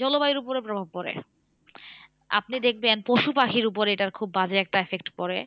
জলবায়ুর উপরে প্রভাব পরে আপনি দেখবেন পশুপাখির উপরে এটার খুব বাজে effect পরে।